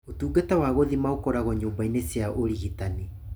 Ũtungata wa gũthima ũkoragwo nyũmba-inĩ cia ũrigitani.